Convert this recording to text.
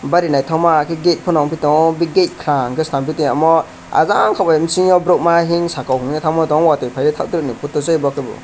bari naitokma gate panotango hingke gate kaham slamngpi tangmo ahjang ke bisingo borok ma himsakok ye tanga tango wati payoe taktoro ni photo se abo ke bo.